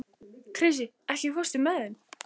Krissi, ekki fórstu með þeim?